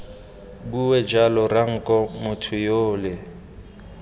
bue jalo ranko motho yole